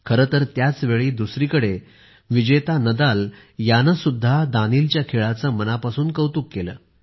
खरे तर त्याच वेळी दुसरीकडे विजेता नदाल याने सुद्धा दानीलच्या खेळाचे मनापासून कौतुक केले